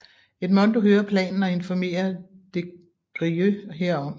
Edmondo hører planen og informerer des Grieux herom